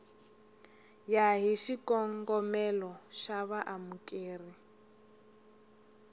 ya hi xikongomelo xa vaamukeri